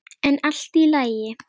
En allt í lagi.